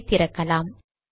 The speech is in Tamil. இதை திறக்கலாம்